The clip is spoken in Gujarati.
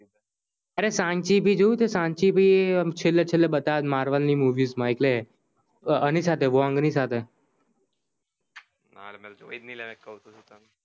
અરે સાઅંચી પણ જોયું છે Sanchi ઐ છેલે છેલે બતાવે છે marvel ની movie માં એટલે આની સાથે wong ની સાથે